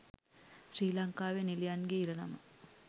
ශ්‍රී ලංකාවේ නිළියන්ගේ ඉරණම